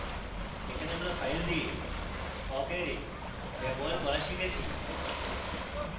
এখানে আমরা ফাইল দিয়ে awk array ব্যবহার করে শিখেছি